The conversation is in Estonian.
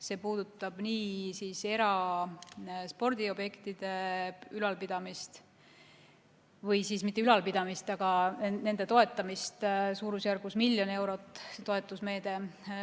See puudutab eraspordiobjektide toetamist, suurusjärgus 1 miljon eurot on see toetusmeede.